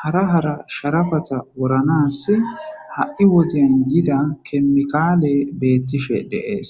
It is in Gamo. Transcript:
hara hara sharafata woranas ha7i woden yida kemikaale beettishe deees.